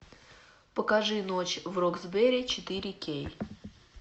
покажи ночь в роксбери четыре кей